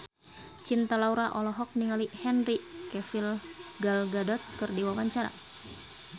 Cinta Laura olohok ningali Henry Cavill Gal Gadot keur diwawancara